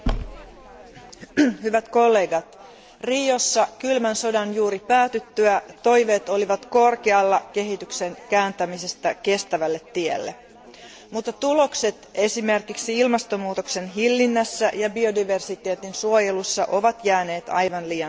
Arvoisa puhemies, hyvät kollegat, Riossa kylmän sodan juuri päätyttyä toiveet olivat korkealla kehityksen kääntämisestä kestävälle tielle, mutta tulokset esimerkiksi ilmastonmuutoksen hillinnässä ja biodiversiteetin suojelussa ovat jääneet aivan liian vähäisiksi.